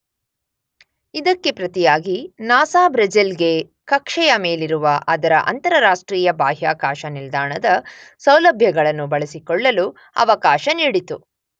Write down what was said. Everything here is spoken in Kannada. ಇದಕ್ಕೆ ಪ್ರತಿಯಾಗಿ ನಾಸ ಬ್ರೆಜಿಲ್ ಗೆ ಕಕ್ಷೆಯ ಮೇಲಿರುವ ಅದರ ಅಂತರರಾಷ್ಟ್ರೀಯ ಬಾಹ್ಯಾಕಾಶ ನಿಲ್ದಾಣದ ಸೌಲಭ್ಯಗಳನ್ನು ಬಳಸಿಕೊಳ್ಳಲು ಅವಕಾಶ ನೀಡಿತು.